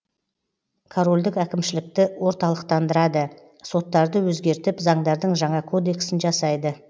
корольдік әкімшілікті орталықтандырады соттарды өзгертіп заңдардың жаңа кодексін жасайды